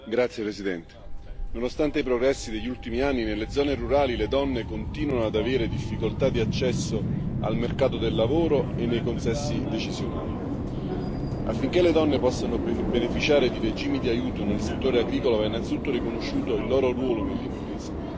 Signora Presidente, onorevoli colleghi, nonostante i progressi degli ultimi anni, nelle zone rurali le donne continuano ad avere difficoltà di accesso al mercato del lavoro e nei consessi decisionali. Affinché le donne possano beneficiare di regimi di aiuto nel settore agricolo, va innanzitutto riconosciuto il loro ruolo nell'impresa.